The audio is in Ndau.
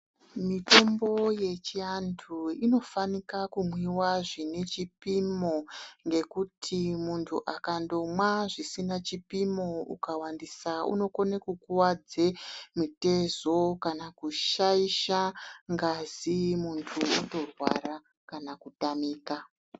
Mitombo yechiantu inofanika kumwiwa zvinechipimo ngekuti muntu akandomwa zvisina chipimo akawandisa unokone kukuwadze mitezo kana kushaisha ngazi muntu otorwara kana kutamika.